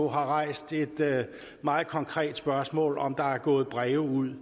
har rejst et meget konkret spørgsmål nemlig om der er gået breve ud